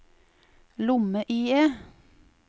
lomme-IE